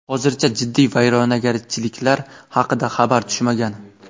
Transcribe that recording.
Hozircha jiddiy vayrongarchiliklar haqida xabar tushmagan.